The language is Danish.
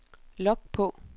log på